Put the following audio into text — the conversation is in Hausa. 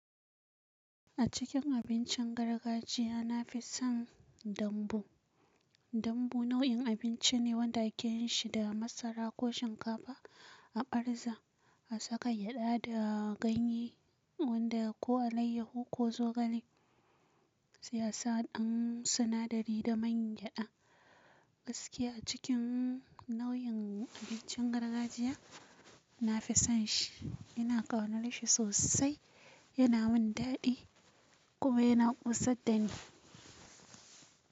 A cikin abincin gargajiya, na fi son dambu. Dambu nau'in abinci ne wanda ake yin shi, da masara ko shinkafa a arzha, a saka gyada da ganye wanda ko alayyahu ko zogale. Sai asa ɗan sinadari da man gyada. Gaskiya a cikin nau'in abincin gargajiya, nafi son shi. Ina ƙaunar shi sosai, yana min daɗi kuma yana ƙosaddani.